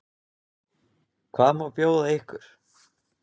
Hvað má bjóða ykkur?